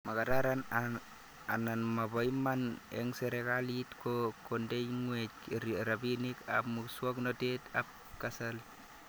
Makararan ana mapo iman eng' serikalit kondeng'weny rabinik ab muswognatet ab kasari